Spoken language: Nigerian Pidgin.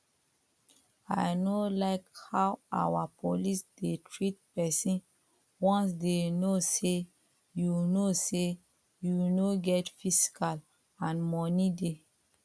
i no like how our police dey treat person once they know say you know say you no get physical and money dey